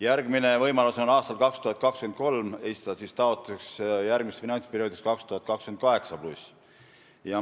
Järgmine võimalus on aastal 2023 esitada taotlus finantsperioodiks alates aastast 2028.